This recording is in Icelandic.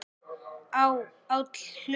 á, áll, hlust